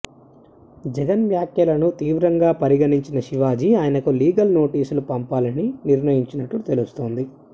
జగన్ వ్యాఖ్యలను తీవ్రంగా పరిగణించిన శివాజీ ఆయనకు లీగల్ నోటీసులు పంపాలని నిర్ణయించినట్టు తెలుస్తోంది